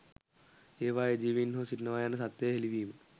ඒවායේ ජීවීන් හෝ සිටිනවා යන සත්‍යය හෙළිවීම